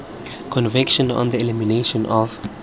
convention on the elimination of